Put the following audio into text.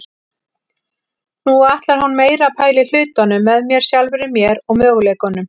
Nú ætlar hún meira að pæla í hlutunum með mér, sjálfri mér og möguleikunum.